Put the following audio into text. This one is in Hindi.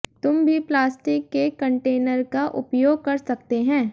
तुम भी प्लास्टिक के कंटेनर का उपयोग कर सकते हैं